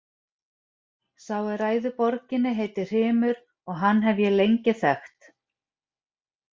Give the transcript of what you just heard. Sá er ræður borginni heitir Hrymur og hann hef ég lengi þekkt.